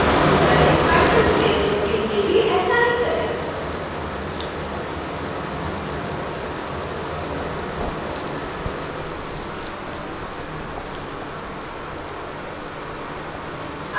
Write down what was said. petals लेयरों के लिए भी ऐसा ही करें